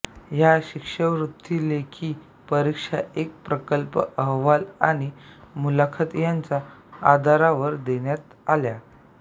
या शिष्यवृत्ती लेखी परीक्षा एक प्रकल्प अहवाल आणि मुलाखत यांच्या आधारावर देण्यात आल्या